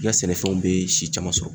I ka sɛnɛfɛnw bɛ si caman sɔrɔ.